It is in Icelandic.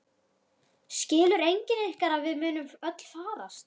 Skilur enginn ykkar að við munum öll farast?